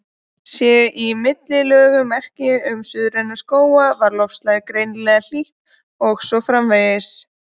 Séu í millilögunum merki um suðræna skóga var loftslagið greinilega hlýtt, og svo framvegis.